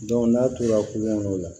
n'a tora kuŋolo kɔnɔ